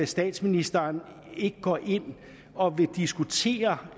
statsministeren ikke går ind og diskuterer